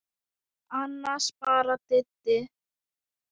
Annars bara Didda.